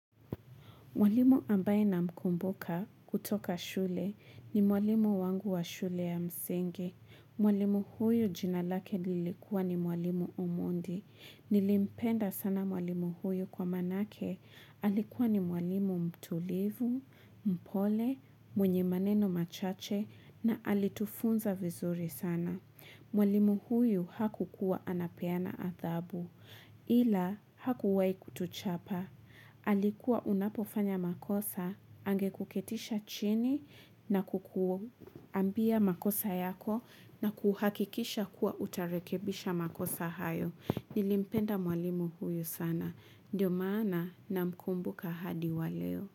Mwalimu ambaye namkumbuka kutoka shule ni mwalimu wangu wa shule ya msingi. Mwalimu huyu jina lake lilikuwa ni mwalimu omondi. Nilimpenda sana mwalimu huyu kwa maanake. Alikuwa ni mwalimu mtulivu, mpole, mwenye maneno machache na alitufunza vizuri sana. Mwalimu huyu hakukuwa anapeana adhabu ila hakuwahi kutuchapa. Alikuwa unapofanya makosa, angekuketisha chini na kukuambia makosa yako na kuhakikisha kuwa utarekebisha makosa hayo. Nilimpenda mwalimu huyu sana. Ndiyo maana namkumbuka hadi waleo.